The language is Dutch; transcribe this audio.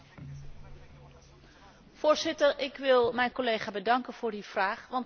Voorzitter, ik wil mijn collega bedanken voor die vraag, want het is een heel goede vraag.